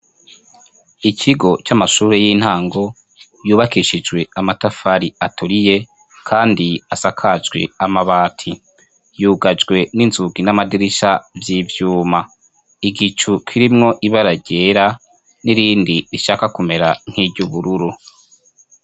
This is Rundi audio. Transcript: Ikigo camashure yintango yubakishijwe amatafari aturiye kandi asakajwe amabati yugajwe ninzugi namadirisha yivyuma igicu kirimwo ibara ryera nirindi rishaka kumera nkiryubururu